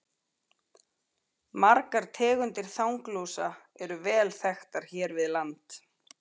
Margar tegundir þanglúsa eru vel þekktar hér við land.